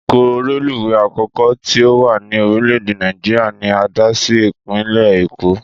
Ìdíkọ̀ reluwé àkọ́kọ́ tí ó wà ní orílè èdè Nàìjíríà ni a dá sí Ìpínlẹ̀ Èkó